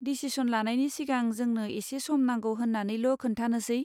Decision लानायनि सिगां जोंनो एसे सम नांगौ होन्नानैल' खोन्थानोसै।